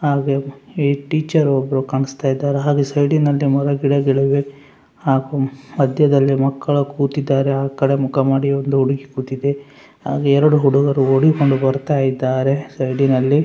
ಹಾಗೇ ಈ ಟೀಚರ್‌ ಒಬ್ಬರು ಕಾಣಿಸ್ತಾ ಇದ್ದಾರೆ ಹಾಗೂ ಸೈಡಿ ನಲ್ಲಿ ಮರಗಿಡಗಳು ಇವೆ ಹಾಗೂ ಮಧ್ಯದಲ್ಲಿ ಮಕ್ಕಳು ಕೂತಿದ್ದಾರೆ ಆಕಡೆ ಮುಖ ಮಾಡಿ ಒಂದು ಹುಡುಗಿ ಕೂತಿದೆ ಹಾಗೇ ಎರಡು ಹುಡುಗರು ಓಡಿಕೊಂಡು ಬರುತ್ತಿದ್ದಾರೆ ಸೈಡಿ ನಲ್ಲಿ.